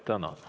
Tänan!